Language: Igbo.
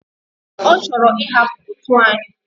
Ochoro ihapu otu anyi?